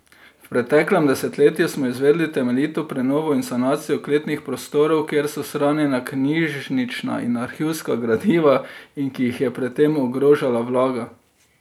V preteklem desetletju smo izvedli temeljito prenovo in sanacijo kletnih prostorov, kjer so shranjena knjižnična in arhivska gradiva in ki jih je pred tem ogrožala vlaga.